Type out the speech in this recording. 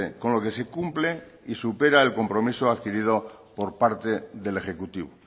con lo que se cumple y supera el compromiso adquirido por parte del ejecutivo